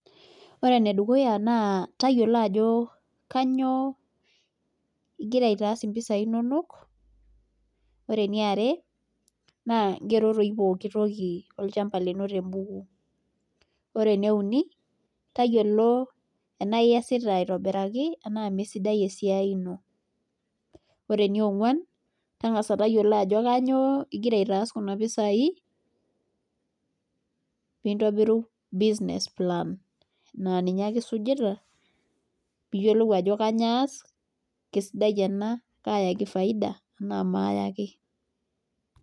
Ore ene dukuya naa tayiolo ajo, kainyioo igira aitaas mpisai inonok. ore eniare naa igero doi pooki toki olchampa. lino te buku. ore ene uni. tayiolo ena iasita iatobiraki anaa misidai esiai ino. ore enionguan. tangasa tayiolo ajo kainyioo igira aitaas kunapisai pee intobiru business plan naa ninye ake isujita. pee iyiolou ajo kainyioo ass. kaayaki faida enaa maayaki.